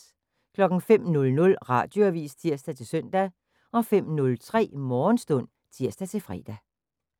05:00: Radioavis (tir-søn) 05:03: Morgenstund (tir-fre)